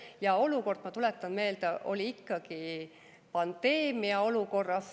Ja ma tuletan meelde, et oli ikkagi pandeemiaolukord.